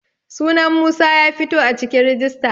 sunan Musa ya fito a cikin rijista